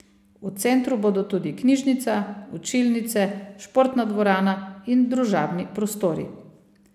V centru bodo tudi knjižnica, učilnice, športna dvorana in družabni prostori.